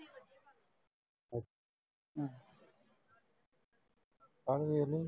ਕੱਲ ਵੇਖ ਲਈਂ।